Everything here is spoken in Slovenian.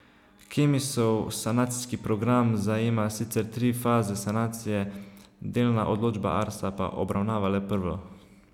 Kemisov sanacijski program zajema sicer tri faze sanacije, delna odločba Arsa pa obravnava le prvo.